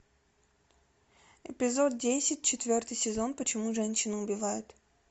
эпизод десять четвертый сезон почему женщины убивают